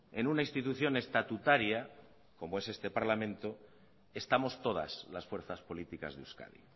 en una institución estatutaria como es este parlamento estamos todas las fuerzas políticas de euskadi